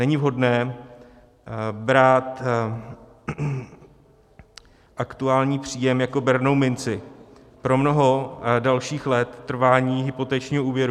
Není vhodné brát aktuální příjem jako bernou minci pro mnoho dalších let trvání hypotečního úvěru.